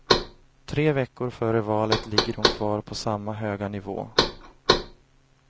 Tre veckor före valet ligger hon kvar på samma höga nivå.